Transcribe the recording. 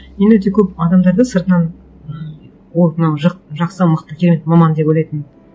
мен өте көп адамдарды сыртынан ммм вот мынау жақсы мықты керемет маман деп ойлайтынмын